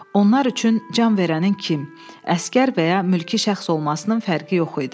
Onlar üçün can verənin kim, əsgər və ya mülki şəxs olmasının fərqi yox idi.